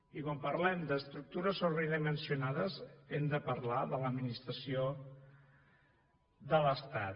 i quan parlem d’estructures sobredimensionades hem de parlar de l’administració de l’estat